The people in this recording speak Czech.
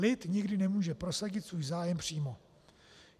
Lid nikdy nemůže prosadit svůj zájem přímo.